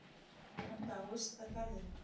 Hann dáðist að garðinum.